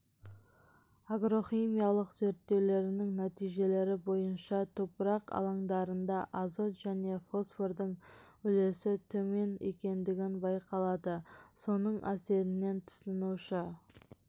агрохимиялық зерттеулердің нәтижелері бойынша топырақ алаңдарында азот және фосфордың үлесі төмен екендігі байқалады соның әсерінен тұтынушы